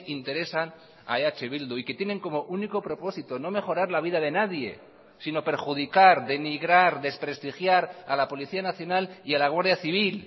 interesan a eh bildu y que tienen como único propósito no mejorar la vida de nadie sino perjudicar denigrar desprestigiar a la policía nacional y a la guardia civil